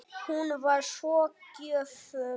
Hún var svo gjöful.